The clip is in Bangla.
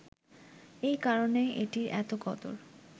এ কারণেই এটির এত কদর